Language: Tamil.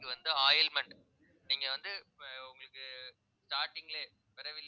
வந்து ointment நீங்க வந்து உங்களுக்கு starting லே பிறவியிலே